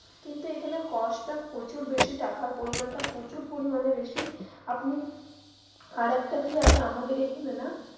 কিন্তু এইখানে cost টা প্রচুর বেশি টাকার পরিমানটা প্রচুর পরিমানে বেশি. আপনি আরেকটা কি আছে আমাদের এইখানে না.